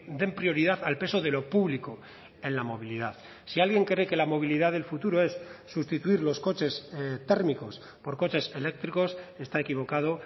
den prioridad al peso de lo público en la movilidad si alguien cree que la movilidad del futuro es sustituir los coches térmicos por coches eléctricos está equivocado